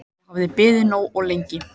Ég hafði beðið nógu lengi.